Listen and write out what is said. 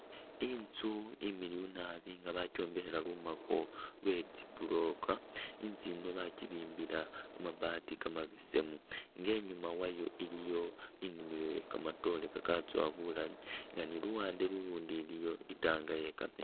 Inzu imiliyu nabi nga bakyombekhela lumako lwe tsi buloka, inzu yino bakibimbila kamabaati kamabesemu nga inyuma wayo iliyo inimilo ye kamatoore kakatsowa bulaayi nga ni luwande lulundi ilyo i'tank ye kameetsi.